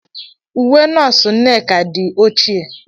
Uwe nọọsụ Nneka di ochie.